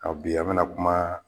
Aw bi bina kuma